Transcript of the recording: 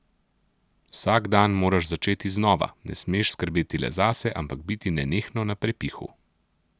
Vsak dan moraš začeti znova, ne smeš skrbeti le zase, ampak biti nenehno na prepihu.